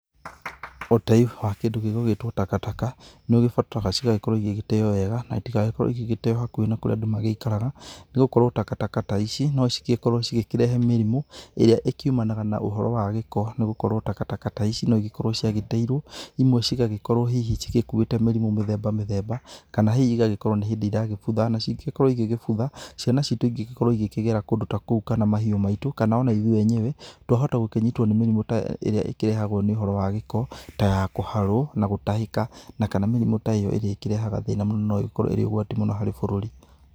Ũtei wa kĩndũ gĩgũgĩtwo takataka, nĩ ũgĩbataraga cigagĩkorwo cigĩteo wega na itigagĩkorwo igĩgĩteo gũkuhĩ na kũria andũ maikaraga, nĩ gũkorwo takataka ta ici no cigĩkorwo cigĩkĩrehe mĩrimũ ĩrĩa ĩkiumanaga na ũhoro wa gĩko nĩ gũkorwo takataka ta ici no igĩkorwo ciagĩteirwo, imwe cigagĩkorwo hihi cigĩkuĩte mĩrimũ mĩthemba mĩthemba kana hihi igagĩkorwo nĩ hĩndĩ iragĩbutha, nacio ingĩgĩkorwo igĩbutha, ciana citũ ingĩgĩkorwo igĩkĩgera kũndũ ta kou kana mahiũ maitũ kana o na ithuĩ enyewe, twahota gũkĩnyitwo nĩ mĩrimũ ta ĩrĩa ĩkĩrehagwo nĩ ũhoro wa gĩko, ta ya kũharwo na gũtahĩka na kana mĩrimũ ta ĩyo ĩrĩa ĩkĩrehaga thĩna mũno no ĩkorwo ĩrĩ ũgwati mũno harĩ bũrũri.